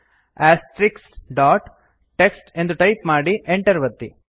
TXT ಎಂದು type ಮಾಡಿ enter ಒತ್ತಿ